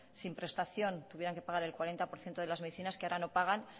sin prestación tuvieran que pagar el cuarenta por ciento de las medicinas que ahora no pagan